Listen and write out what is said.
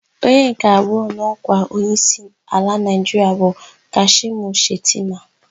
Onye nke abụọ n'ọkwa onyeisi ala Naịjiria bụ Kashimu Shetima.